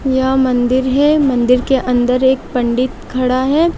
यह मंदिर है मंदिर के अंदर एक पंडित खड़ा है।